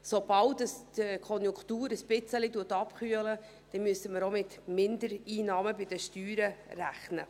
Sobald die Konjunktur ein wenig abkühlt, müssen wir auch mit Mindereinnahmen bei den Steuern rechnen.